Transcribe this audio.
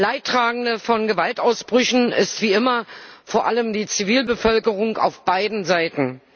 Leidtragender von Gewaltausbrüchen ist wie immer vor allem die Zivilbevölkerung auf beiden Seiten.